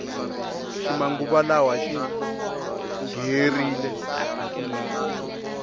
xi manguva lawa xingherile hukunene